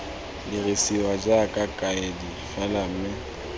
dirisiwa jaaka kaedi fela mme